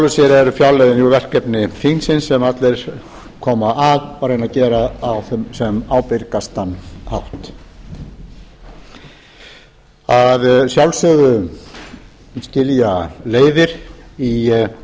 sér eru fjárlögin þau verkefni þingsins sem allir koma að og reyna að gera á sem ábyrgastan hátt að sjálfsögðu skilja leiðir í